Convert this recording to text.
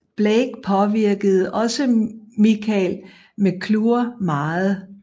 Blake påvirkede også Michael McClure meget